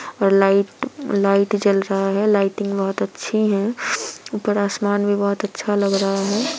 और light light जल रहा है। लाइटिंग बहुत अच्छी हैं। ऊपर आसमान भी बहुत अच्छा लग रहा है|